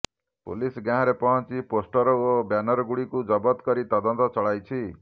police ଗାଁରେ ପହଞ୍ଚି poster ଓ ବ୍ୟାନରଗୁଡିକୁ ଜବତ କରି ତଦନ୍ତ ଚଳାଇଛି